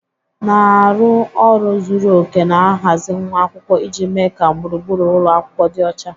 Na-arụ ọrụ zuru oke na-ahazi nwa akwụkwọ iji mee ka gburugburu ụlọ akwụkwọ dị ọcha.